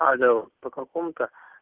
алло по какому-то